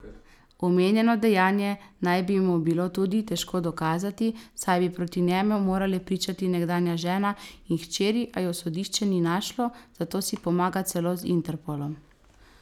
Omenjeno dejanje naj bi mu bilo tudi težko dokazati, saj bi proti njemu morale pričati nekdanja žena in hčeri, a ju sodišče ni našlo, zato si pomaga celo z Interpolom.